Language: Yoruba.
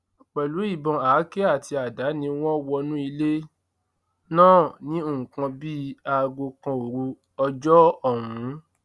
pẹlú ìbọn àáké àti àdá ni wọn wọnú ilé náà ní nǹkan bíi aago kan òru ọjọ ọhún